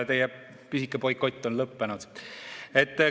Teie pisike boikott on lõppenud.